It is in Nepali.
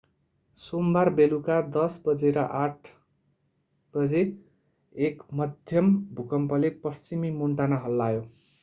सोमबार बेलुका 10:08 बजे एक मध्यम भूकम्पले पश्चिमी मोन्टाना हल्लायो